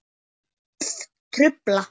Orð trufla.